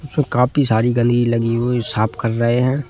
इसमें काफी सारी गंदगी लगी हुई साफ कर रहे हैं।